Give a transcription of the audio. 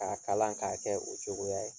K'a kalan k'a kɛ o cogoya ye